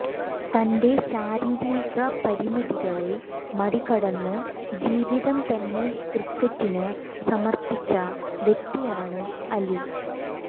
തന്റെ ശാരീരിക പരിമിതികളെ മറികടന്ന് ജീവിതം തന്നെ ക്രിക്കറ്റിന് സമർപ്പിച്ച വ്യക്തിയാണ് അലി